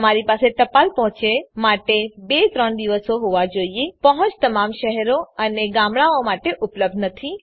તમારી પાસે ટપાલ પહોંચ માટે ૨ ૩ દિવસો હોવા જોઈએ પહોંચ તમામ શહેરો અને ગામડાંઓ માટે ઉપલબ્ધ નથી